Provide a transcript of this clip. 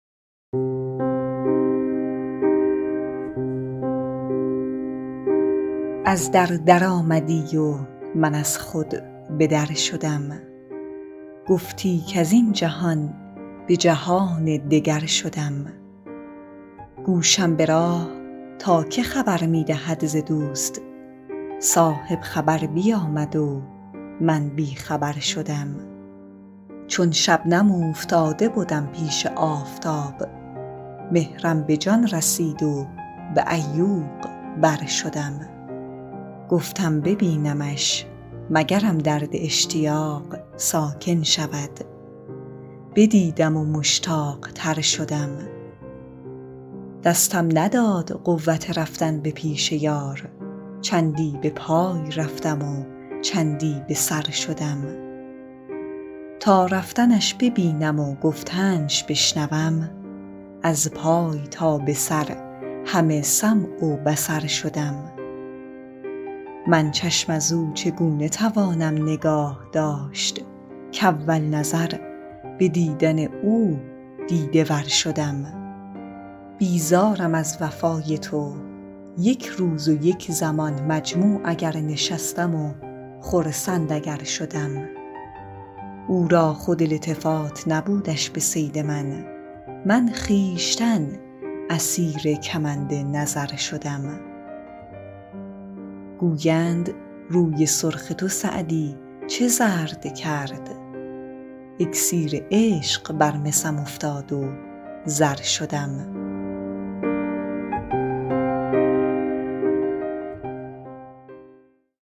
از در درآمدی و من از خود به در شدم گفتی کز این جهان به جهان دگر شدم گوشم به راه تا که خبر می دهد ز دوست صاحب خبر بیامد و من بی خبر شدم چون شبنم اوفتاده بدم پیش آفتاب مهرم به جان رسید و به عیوق بر شدم گفتم ببینمش مگرم درد اشتیاق ساکن شود بدیدم و مشتاق تر شدم دستم نداد قوت رفتن به پیش یار چندی به پای رفتم و چندی به سر شدم تا رفتنش ببینم و گفتنش بشنوم از پای تا به سر همه سمع و بصر شدم من چشم از او چگونه توانم نگاه داشت کاول نظر به دیدن او دیده ور شدم بیزارم از وفای تو یک روز و یک زمان مجموع اگر نشستم و خرسند اگر شدم او را خود التفات نبودش به صید من من خویشتن اسیر کمند نظر شدم گویند روی سرخ تو سعدی چه زرد کرد اکسیر عشق بر مسم افتاد و زر شدم